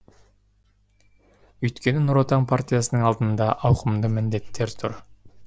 өйткені нұр отан партиясының алдында ауқымды міндеттер тұр